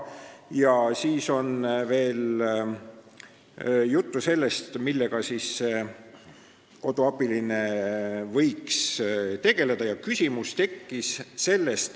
Juttu on ka sellest, millega koduabiline võiks tegeleda.